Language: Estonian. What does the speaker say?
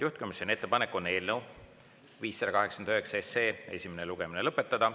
Juhtivkomisjoni ettepanek on eelnõu 589 esimene lugemine lõpetada.